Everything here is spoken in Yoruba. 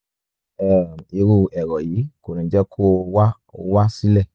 um irú èrò yìí kò ní jẹ́ kó o wá o wá sílẹ̀